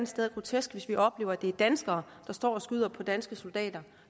sted grotesk hvis vi oplever at det er danskere der står og skyder på danske soldater